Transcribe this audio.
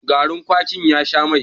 gari kwakin ya Sha Mai